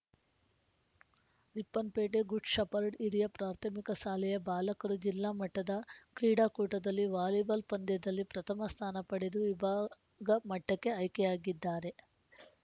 Ripponpet Good Shepherd ಹಿರಿಯ ಪ್ರಾಥಮಿಕ ಸಾಲೆಯ ಬಾಲಕರು ಜಿಲ್ಲಾ ಮಟ್ಟದ ಕ್ರೀಡಾಕೂಟದಲ್ಲಿ ವಾಲಿಬಾಲ್‌ ಪಂದ್ಯದಲ್ಲಿ ಪ್ರಥಮಸ್ಥಾನ ಪಡೆದು ವಿಭಾಗಮಟ್ಟಕ್ಕೆ ಆಯ್ಕೆಯಾಗಿದ್ದಾರೆ